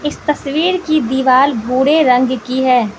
इस तस्वीर की दीवाल भूरे रंग की है।